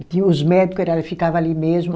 Que os médico era ficava ali mesmo.